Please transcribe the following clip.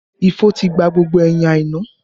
Ifo ti gba gbogbo ẹyin Aina